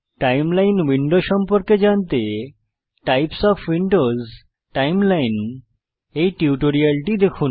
timeline window সম্পর্কে জানতে types of windows timeline এই টিউটোরিয়ালটি দেখুন